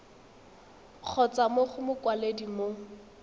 kgotsa mo go mokwaledi mo